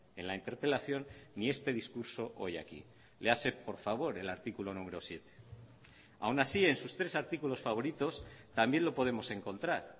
en la interpelación ni este discurso hoy aquí léase por favor el artículo numero siete aun así en sus tres artículos favoritos también lo podemos encontrar